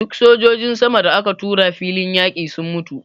Duk sojojin sama da aka tura filin yaƙi sun mutu.